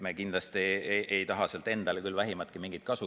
Me kindlasti ei taha sealt endale küll vähimatki kasu.